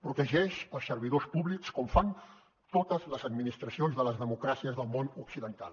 protegeix els servidors públics com fan totes les administracions de les democràcies del món occidental